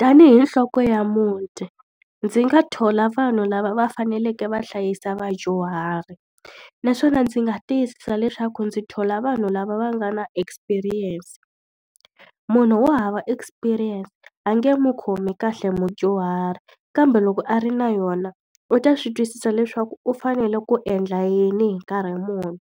Tanihi nhloko ya muti, ndzi nga thola vanhu lava va faneleke va hlayisa vadyuhari. Naswona ndzi nga tiyisisa leswaku ndzi thola vanhu lava va nga na experience. Munhu wo hava experience a nge n'wi khomi kahle mudyuhari, kambe loko a ri na yona u ta swi twisisa leswaku u fanele ku endla yini hi nkarhi muni.